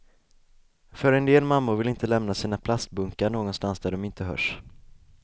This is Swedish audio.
För en del mammor vill inte lämna sina plastbunkar någonstans där de inte hörs.